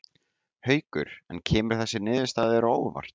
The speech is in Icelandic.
Haukur: En kemur þessi niðurstaða þér á óvart?